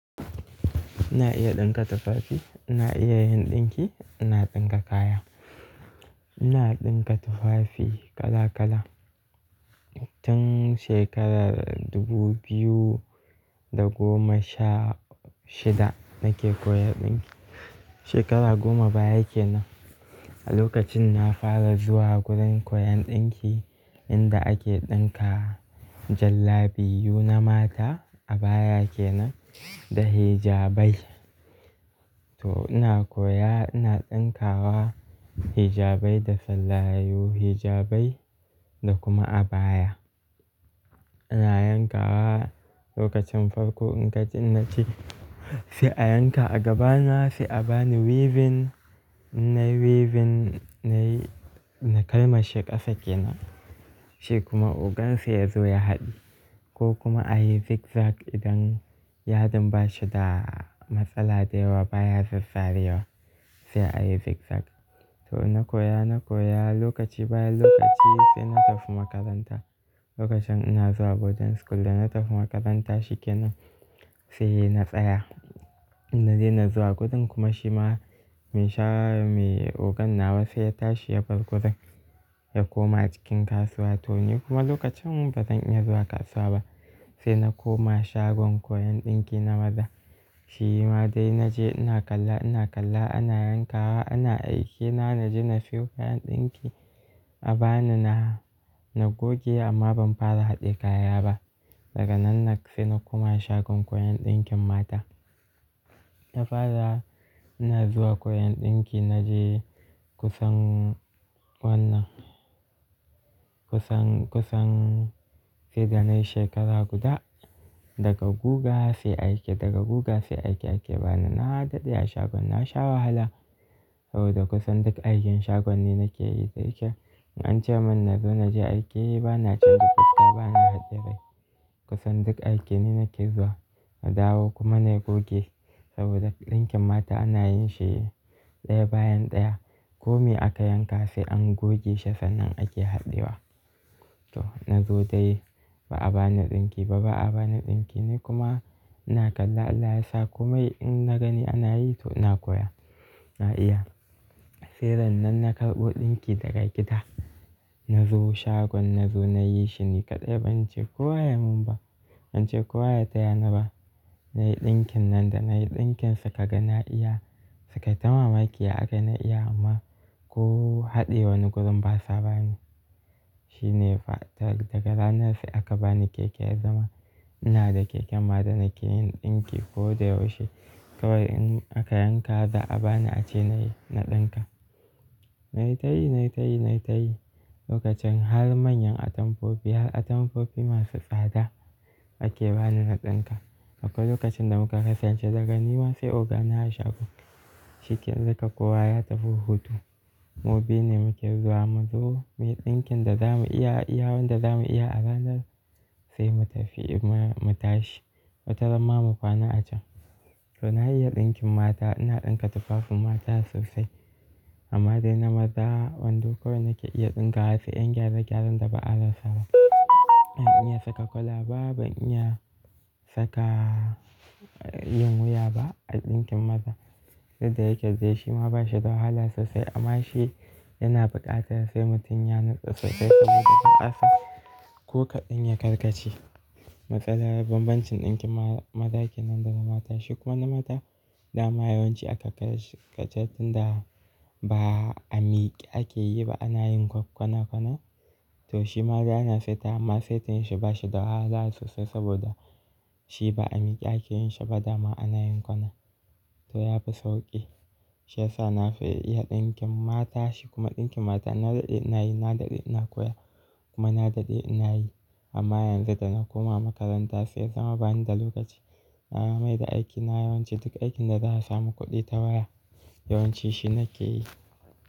Ina iya ɗinka tufafi, ina iya yin ɗinki, ina ɗinka kaya. Ina ɗinka tufafi kala kala. Tun shekarar dubu biyu da goma sha shida nake koyan ɗinki. Shekara goma baya kenan, a lokacin na fara zuwa gurin koyan ɗinki inda ake ɗinka jallabiu na mata, abaya kenan da hijabai. To ina koya, ina ɗinkawa hijabai da fellayu, hijabi da kuma abaya. Ina yankawa lokacin farko in gadi na ce, "sai a yanka a gaba na, sai a bani weaving." Na yi weaving, na kalmashe ƙasa kenan. Shi kuma ogan sai ya zo ya haɗi ko kuma a yi zigzag idan yadin ba shi da matsala da yawa baya sassariwa, sai a yi zigzag. To na koya, na koya lokaci bayan lokaci sai na tafi makaranta. Lokacin ina zuwa boarding school da na tafi makaranta shi kenan sai na tsaya. Na daina zuwa gurin kuma shi ma mai ogana was sai ya tashi ya bar gurin ya koma cikin kasuwa. To ni kuma lokacin ba zan iya zuwa kasuwa ba sai na koma shagon koyon ɗinki na maza. Shi ma dai na je ina kalla, ina kalla ana yankawa, ana aiki. Na gaji na siyo kayan ɗinki a bani na, na goge amma ban fara haɗe kaya ba. Daga nan na sai na koma shagon koyon ɗinkin mata. Na fara ina zuwa koyon ɗinki na je kusan wannan, kusan sai da na yi shekara guda daga guga sai aiki, daga guga sai aiki ake bani. Na haɗaɗe a shagon na sha wahala saboda kusan duk aikin shagon ni nake yi da yake in an ce min na zo na je aiki ba na canza fuska, ba na haɗiye rai. Kusan duk aiki ne nake zuwa na dawo kuma na goge saboda ɗinkin mata ana yin shi ɗaya bayan ɗaya. Ko me aka yanka sai an goge shi sannan ake haɗewa. To na zo dai ba a bani ɗinki ba, ba a bani ɗinki. Ni kuma ina kalla, Allah yasa, komai in na gani ana yi to ina koya. Na iya. Sai ran nan na karɓo ɗinki daga gida. Na zo shagon na zo na yi shi ni kaɗai ban ce kowa ya mun ba, ban ce kowa ya taya ni ba. Na yi ɗinkin nan da na yi ɗinkin suka ga na iya. Suka ta mamaki aka na iya amma ko haɗe wani gudun ba sa bani. Shi ne fa daga ranan sai aka bani keke ya zama ina da keken ma da nake yin ɗinki ko da yaushe. Kawai in aka yanka za a bani ace na yi, na ɗinka. Na yi tayi, na yi tayi, na yi tayi lokacin har manyan atampofi, har atampofi masu tsada ake bani na ɗinka. Haka lokacin da muka kasance daga ni ma sai ogana a shagon. Shi ƙallaka kowa ya tafi hutu. Mu biyu ne muke zuwa, mu zo, mu yi ɗinkin da za mu iya, yawon da za mu iya a ranan sai mu tafi, mu tashi, mu tazama mu kwana a can. To na iya ɗinkin mata, ina ɗinka tufafin mata sosai amma dai na maza wando ko da yake iya ɗinkawa sai 'yan gyare-gyaren da ba a rasa ba. Ban iya saka kwalaba, ban iya saka, yin wuya ba a ɗinkin maza. Yadda yake dai shi ma ba shi da wahala sosai amma shi yana buƙatar sai mutum ya natsu sosai saboda ta ƙasa ko kaɗan ya karkace. Matsalar bambancin ɗinkin maza kenan da na mata shi kuma na mata dama yawanci aka kace shi kacar tun da ba a miƙe ake yi ba ana yin kwana kwana. To shi ma dai ana saita amma saitin shi ba shi da wahala sosai saboda shi ba a miƙe ake yin shi ba dama ana yin kwana. To ya fi sauƙi. Shi yasa na fi iya ɗinkin mata. Shi kuma ɗinkin mata na daɗe ina yi, na daɗe ina koya kuma na daɗe ina yi. Amma yanzu da na koma makaranta sai zama bani da lokaci. Na yi amai da aiki na yawanci duka aikin da za a sami kuɗi tawaya yawanci shi nake yi.